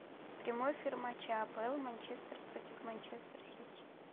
прямой эфир матча апл манчестер против манчестер сити